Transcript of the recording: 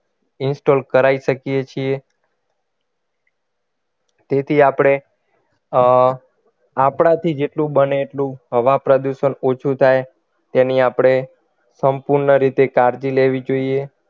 Install કરાવી શકીએ છીએ તેથી આપણે અર આપણાથી જેટલું બને એટલું હવા પ્રદુષણ ઓછું થાય તેની આપણે સંપૂર્ણ રીતે કાળજી લેવી જોઈએ